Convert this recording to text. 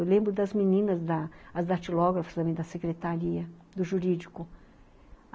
Eu lembro das meninas, as datilógrafas também da secretaria, do jurídico.